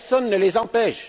Personne ne les y empêche.